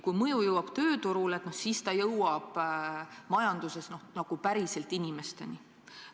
Kui mõju jõuab tööturule, siis ta jõuab majanduses nagu päriselt inimesteni.